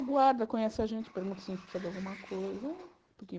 O guarda conhece a gente, pergunta se a gente precisa de alguma coisa porque.